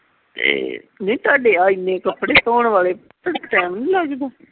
ਵੇਖ ਤੁਹਾਡੇ ਆ ਇੰਨੇ ਕੱਪੜੇ ਧੋਣ ਵਾਲੇ time ਨਹੀਂ ਲੱਗਦਾ